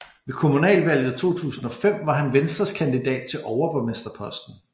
Ved kommunalvalget 2005 var han Venstres kandidat til overborgmesterposten